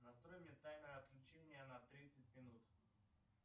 настрой мне таймер отключения на тридцать минут